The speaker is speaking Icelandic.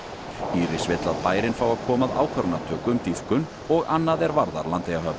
Íris vill að bærinn fái að koma að ákvarðanatöku um dýpkun og annað er varðar Landeyjahöfn